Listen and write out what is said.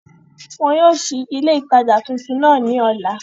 Wọn yóò sí ilé ìtajà tuntun náà ní ọ̀la